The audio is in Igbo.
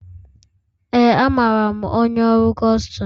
Ee, amaara m onye ọrụ Kustum